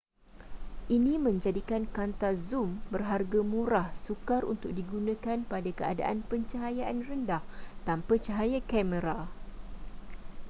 ini menjadikan kanta zoom berharga murah sukar untuk digunakan pada keadaan pencahayaan rendah tanpa cahaya kamera